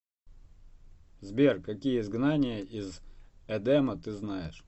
сбер какие изгнание из эдема ты знаешь